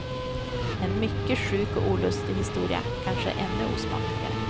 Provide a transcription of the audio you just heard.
En mycket sjuk och olustig historia kanske är ännu osmakligare.